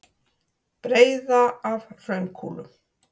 Breiða af hraunkúlum.